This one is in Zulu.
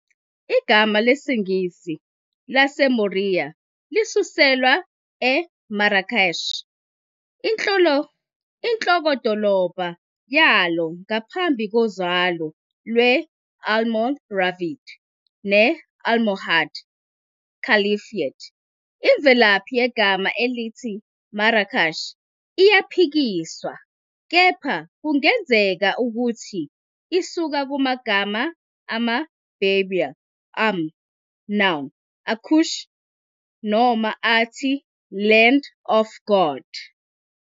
Igama lesiNgisi laseMoriya lisuselwa eMarrakesh, inhlokodolobha yalo ngaphansi kozalo lwe-Almoravid ne-Almohad Caliphate. Imvelaphi yegama elithi Marrakesh iyaphikiswa, kepha kungenzeka ukuthi isuka kumagama ama-Berber amur, n, akush noma athi "Land of God".